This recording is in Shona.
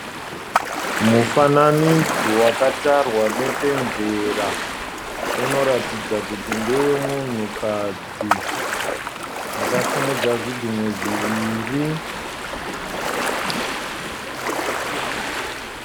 Mufananidzo wakatarwa nepenzera. Unoratidza kuti ndewe munhukadzi akasimudza zvigunwe zviviri.